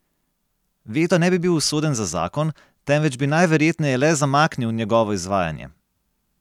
Veto ne bi bil usoden za zakon, temveč bi najverjetneje le zamaknil njegovo izvajanje.